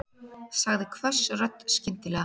sagði hvöss rödd skyndilega.